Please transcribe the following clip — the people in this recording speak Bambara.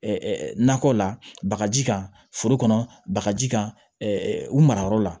nakɔ la bagaji kan foro kɔnɔ bagaji kan u mara yɔrɔ la